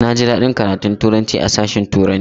Na ji daɗin karatun Turanci a sashen turanci